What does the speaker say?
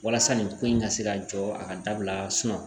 Walasa nin ko in ka se ka jɔ a ka dabila